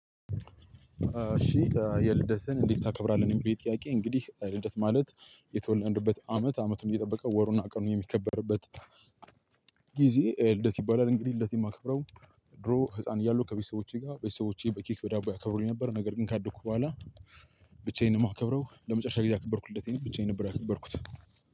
እሺ ልደትህን እንዴት ታከብራለህ ለሚለው ጥያቄ እንግዲህ ልደት ማለት የተወለድንበት አመት አመቱን እየጠበቀ ወሩን አቅም የሚከበርበት ጊዜ ልደት ይባላል። እንግዲህ ልደት የማከብረው ድሮ ህፃን እያለሁ ከቤተሰቦቼ ጋር ቤተሰቦቼ በኬክ፣ በዳቦ ያከብሩልኝ ነበር። ነገር ግን ካደኩ በኋላ ብቻዬን ነው የማከብረው ለመጨረሻ ጊዜ ያከበርኩ እለት ልደቴን ብቻዬ ነበር ያከበርኩት